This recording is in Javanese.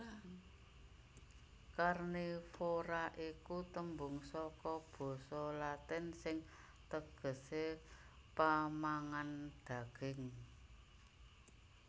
Karnivora iku tembung saka basa Latin sing tegesé pamangan daging